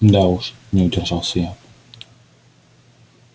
да уж не удержался я